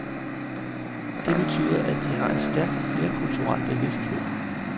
Det betyder, at de har en stærk flerkulturel bevidsthed.